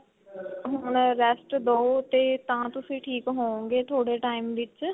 ਹੁਣ rest ਦਓ ਤੇ ਤਾਂ ਤੁਸੀਂ ਠੀਕ ਹੋਵੋਗੇ ਥੋੜੇ time ਵਿੱਚ